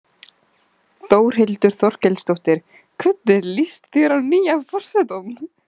Þórhildur Þorkelsdóttir: Hvernig líst þér á nýja forsetann?